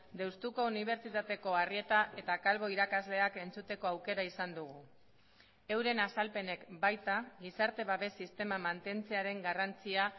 deustuko unibertsitateko arrieta eta calvo irakasleak entzuteko aukera izan dugu euren azalpenek baita gizarte babes sistema mantentzearen garrantzia